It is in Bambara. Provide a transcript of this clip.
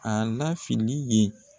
A na fini ye.